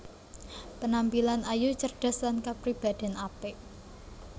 Penampilan ayu cerdas lan kapribadèn apik